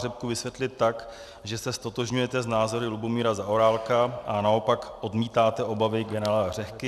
Řehku vysvětlit tak, že se ztotožňujete s názory Lubomíra Zaorálka a naopak odmítáte obavy generála Řehky?